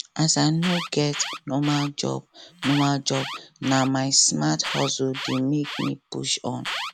as i no get normal job normal job na my smart hustle dey make me push on